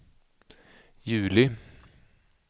juli